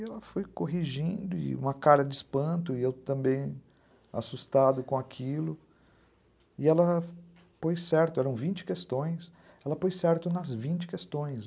E ela foi corrigindo, e uma cara de espanto, e eu também assustado com aquilo, e ela pôs certo, eram vinte questões, ela pôs certo nas vinte questões.